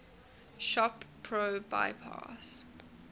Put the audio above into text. shop pro bypass